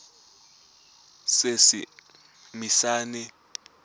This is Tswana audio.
seesimane